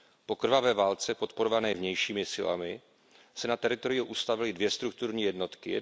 Po krvavé válce podporované vnějšími silami se na teritoriu ustavily dvě strukturní jednotky.